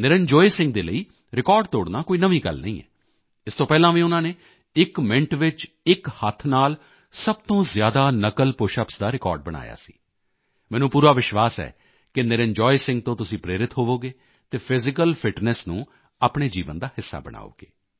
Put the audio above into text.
ਨਿਰੰਜੋਏ ਸਿੰਘ ਦੇ ਲਈ ਰਿਕਾਰਡ ਤੋੜਨਾ ਕੋਈ ਨਵੀਂ ਗੱਲ ਨਹੀਂ ਹੈ ਇਸ ਤੋਂ ਪਹਿਲਾਂ ਵੀ ਉਨ੍ਹਾਂ ਨੇ ਇੱਕ ਮਿਨਟ ਵਿੱਚ ਇੱਕ ਹੱਥ ਨਾਲ ਸਭ ਤੋਂ ਜ਼ਿਆਦਾ ਨਕਲ ਪੁਸ਼ਅਪਸ ਦਾ ਰਿਕਾਰਡ ਬਣਾਇਆ ਸੀ ਮੈਨੂੰ ਪੂਰਾ ਵਿਸ਼ਵਾਸ ਹੈ ਕਿ ਨਿਰੰਜਾਏ ਸਿੰਘ ਤੋਂ ਤੁਸੀਂ ਪ੍ਰੇਰਿਤ ਹੋਵੋਗੇ ਅਤੇ ਫਿਜ਼ੀਕਲ ਫਿਟਨੈੱਸ ਨੂੰ ਆਪਣੇ ਜੀਵਨ ਦਾ ਹਿੱਸਾ ਬਣਾਓਗੇ